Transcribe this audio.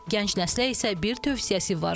Gənc nəslə isə bir tövsiyəsi var.